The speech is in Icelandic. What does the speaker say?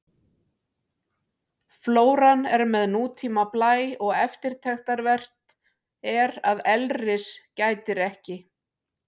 Flóran er með nútíma blæ og eftirtektarvert er að elris gætir ekki.